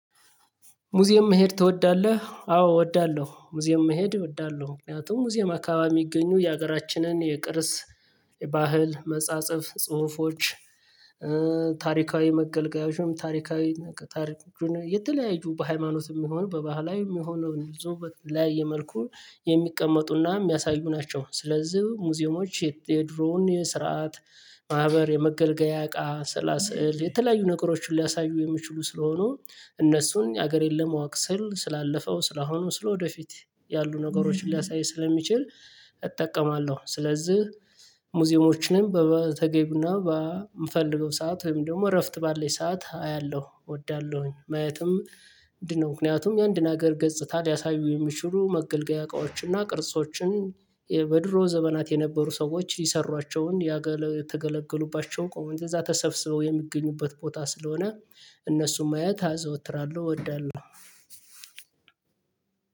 ሙዚየም መሄድ ትወዳለህ? አዎ እወዳለሁ ሙዚየም መሄድ እወዳለሁ ምክንያቱም ሙዚየም አካባቢ የሚገኙ የሀገራችንን የቅርስ የባህል መጻጸፍ ጽሁፎች ታሪካዊ መገልገያዎችም ታሪካዊ ታሪኩን የተለያየ በሃይማኖትም የሚሆን በባህላዊም የሚሆነው ንጹህ በተለያየ መልኩ የሚቀመጡና የሚያሳዩ ናቸው። ስለዚህ ሙዚየሞች የድሮውን የስርዓት ማህበር የመገልገያ እቃ ስላስ የተለያዩ ነገሮችን ሊያሳዩ የሚችሉ ስለሆኑ እነሱን ሀገር የለም አዋቅ ስል ስላለፈው ስላሁኑ ስለወደፊት ያሉ ነገሮችን ሊያሳይ ስለሚችል እጠቀማለሁ። ስለዚህ ሙዚየሞችን በተገቢው እና በምፈልገው ሰዓት ወይም ደግሞ እረፍት ባለኝ ሰዓት አያለሁ እወዳለሁኝ ማየትም እንዲህ ነው። ምክንያቱም የአንድን ሀገር ገጽታ ሊያሳዩ የሚችሉ መገልገያ እቃዎችን እና ቅርጾችን በድሮ ዘመናት የነበሩ ሰዎች የሰሯቸውን ያገለገሉባቸውን ቆመን ከዛ ተሰብስበው የሚገኙበት ቦታ ስለሆነ እነሱን ማየት አዘወትራለሁ እወዳለሁ።